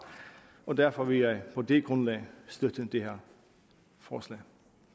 og derfor vil jeg på det grundlag støtte det her forslag